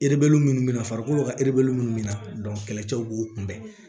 erebeli munnu na farikolo ka munnu bɛ na kɛlɛcɛw b'o kunbɛn